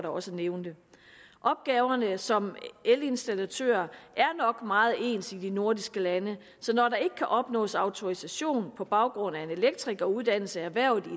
også nævnte opgaverne som elinstallatør er nok meget ens i de nordiske lande så når der ikke kan opnås autorisation på baggrund af en elektrikeruddannelse erhvervet i